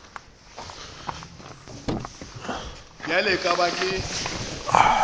bjale e ka ba ke